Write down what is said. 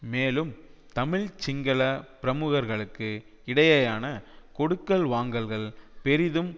மேலும் தமிழ் சிங்கள பிரமுகர்களுக்கு இடையேயான கொடுக்கல் வாங்கல்கள் பெரிதும்